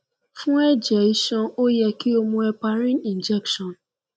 fun ẹjẹ iṣan o yẹ ki o mu heparin injection